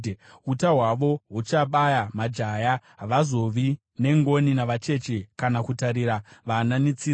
Uta hwavo huchabaya majaya; havazovi nengoni navacheche kana kutarira vana netsitsi.